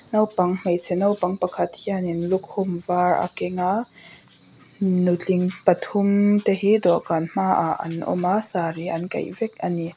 naupang hmeichhe naupang pakhat hian in lukhum var a keng a nutling pathum te hi dawh kan hma ah an awm a sari an kaih vek ani.